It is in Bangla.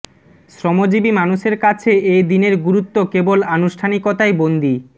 শ্রমজীবী মানুষের কাছে এ দিনের গুরুত্ব কেবল আনুষ্ঠানিকতায় বন্দি